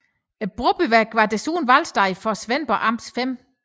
Brobyværk var desuden valgsted for Svendborg Amts 5